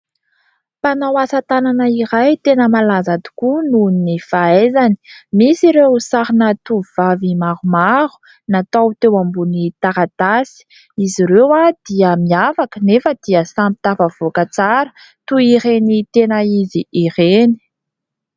Mpanao asa tanana iray tena malaza tokoa noho ny fahaizany. Misy ireo sarina tovovavy maromaro, natao teo ambony taratasy. Izy ireo dia miavaka anefa dia samy tafavoaka tsara toy ireny tena izy ireny.